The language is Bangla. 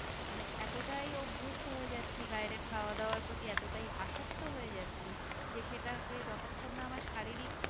মানে এতটাই অভস্ত হয়ে যাচ্ছি বাইরের খাওয়া দাবার প্রতি এতটাই আসক্তি হয়ে যাচ্ছি যে সেটাকে যতক্ষণ না আমার শারীরিক